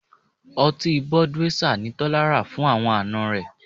Ọtí Budweisser ni Tọ́lá rà fún àwọn àna rẹ̀